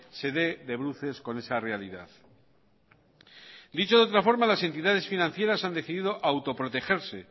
se dé de bruces con esa realidad dicho de otra forma las entidades financieras han decido autoprotegerse